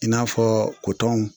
I n'a fɔ kotɔnw.